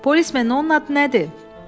Polismen, onun adı nədir?